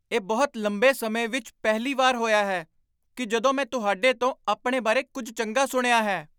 ਇਹ ਬਹੁਤ ਲੰਬੇ ਸਮੇਂ ਵਿੱਚ ਪਹਿਲੀ ਵਾਰ ਹੋਇਆ ਹੈ ਕਿ ਜਦੋਂ ਮੈਂ ਤੁਹਾਡੇ ਤੋਂ ਆਪਣੇ ਬਾਰੇ ਕੁੱਝ ਚੰਗਾ ਸੁਣਿਆ ਹੈ।